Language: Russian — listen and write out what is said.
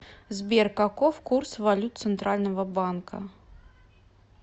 сбер каков курс валют центрального банка